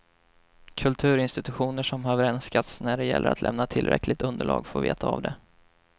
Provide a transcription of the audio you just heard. Kulturinstitutioner som har vrenskats när det gäller att lämna tillräckligt underlag får veta av det.